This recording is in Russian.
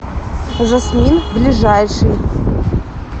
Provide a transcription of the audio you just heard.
жасмин ближайший